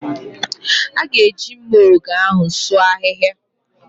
A ga-eji mma ògè ahụ sụọ ahịhịa